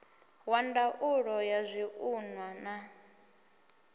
wa ndaulo ya zwiṱunḓwa na